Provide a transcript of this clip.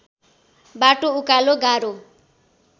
बाटो उकालो गाह्रो